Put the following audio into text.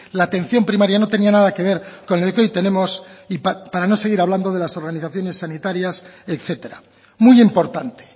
la atención primaria no tenía nada que ver con lo que hoy tenemos y para no seguir hablando de las organizaciones sanitarias etcétera muy importante